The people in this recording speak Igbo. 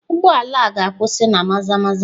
Ụgbọ ala a ga-akwụsị na Maza-maza?